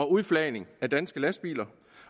udflagning af danske lastbiler